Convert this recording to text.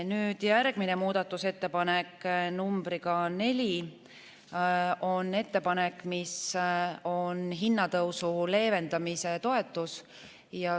Nüüd, järgmine muudatusettepanek, nr 4, on ettepanek, mis on hinnatõusu leevendamise toetus.